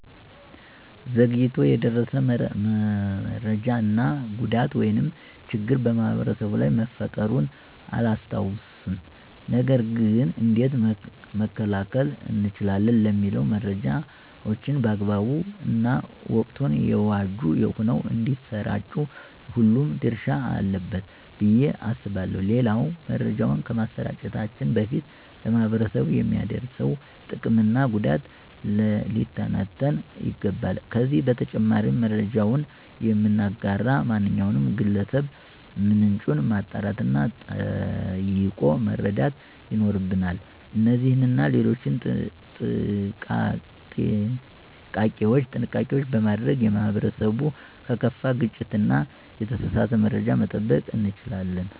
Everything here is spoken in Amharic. ዘግይቶ የደረሰ መሰጃ እና ጉዳት ወይም ችግር ማህበረሰቡ ላይ መፈጠሩን አላስታውስም። ነገር ገን እንዴት መከላከል እንችላለን? ለሚለው መረጃዎችን በአግባቡ እና ወቅቱን የዋጁ ሆነው እንዳሰራጩ ሁሉም ድረሻ አለበት ብዬ አስባለሁ። ሌላው መረጃውን ከማሰራጨታችን በፊት ለማህበረሰቡ የሚያደርሰው ጥቅም እና ጉዳት ሊተነተን ይገባል። ከዚህ በተጨማሪም መረጃውን የምናጋራ ማናቸውም ግለሰብ ምንጩን ማጣራት እና ጠይቆ መረዳት ይኖርብናል። እነዚህንና ሌሎችም ጥንቃቄዎች በማድረግ ማህበረሰቡን ከከፋ ግጭት እና የተሳሳተ መረጃ መጠበቅ እንችላለን።